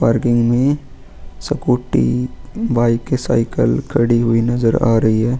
Parking में scooty bike cycle खड़ी हुई नजर आ रही है.